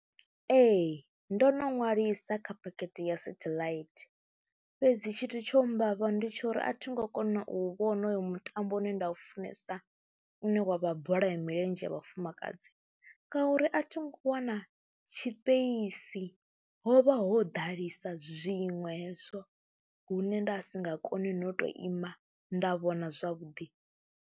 Ee, ndo no ṅwalisa kha phakhethe ya satheḽaithi fhedzi tshithu tsho mmbavha ndi tsho uri a thi ngo kona u vhona hoyo mutambo une nda u funesa une wa vha bola ya milenzhe ya vha funa fumakadzi ngauri a tho ngo wana tshipeisi, ho vha ho ḓalesa zwiṅwe hezwo hune nda si nga kone no tou ima nda vhona zwavhuḓi.